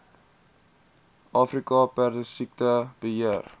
afrika perdesiekte beheer